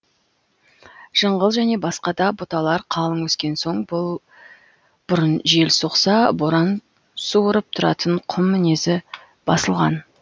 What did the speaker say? жыңғыл және басқа да бұталар қалың өскен соң бұрын жел соқса боран суырып тұратын құм мінезі басылған